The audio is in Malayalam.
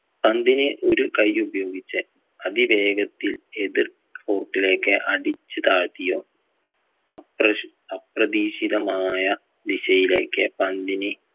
പന്തിനെ ഒരു കൈ ഉപയോഗിച്ച് അതിവേഗത്തിൽ എതിർ court ലേക്ക് അടിച്ച് താഴ്ത്തിയോ അപ്രശ് അപ്രതീക്ഷിതമായ ദിശയിലേക്ക് പന്തിന്